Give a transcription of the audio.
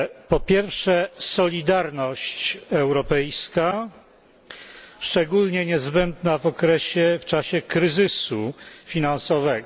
Po pierwsze, solidarność europejska, szczególnie niezbędna w czasie kryzysu finansowego.